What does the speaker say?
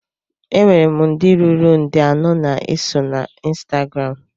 Enwere m ndị ruru nde anọ na-eso na ọ ịnstagram